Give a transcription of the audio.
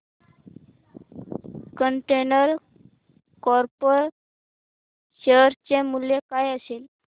container Corp share चे मूल्य काय असेल